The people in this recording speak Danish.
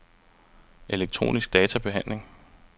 elektronisk databehandling